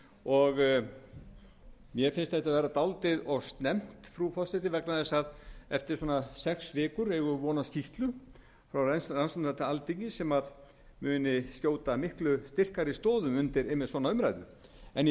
og mér finnst þetta vera dálítið of snemmt frú forseti vegna þess að eftir sex vikur eigum við von á skýrslu frá rannsóknarnefnd alþingis sem muni skjóta miklu styrkari stoðum undir svona umræðu en í